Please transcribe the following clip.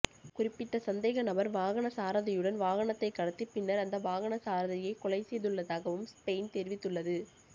குறிப்பிட்ட சந்தேகநபர் வாகனச்சாரதியுடன் வாகனத்தை கடத்தி பின்னர் அந்த வாகனச்சாரதியை கொலை செய்துள்ளதாகவும் ஸ்பெயின் தெரிவித்துள்ளது